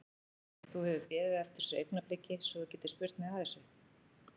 Þú hefur beðið eftir þessu augnabliki svo þú getir spurt mig að þessu?